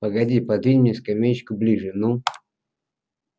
погоди подвинь мне скамеечку ближе ну